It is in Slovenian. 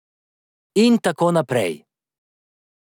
In tako naprej.